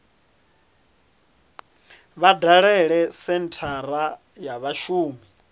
vha dalele senthara ya vhashumi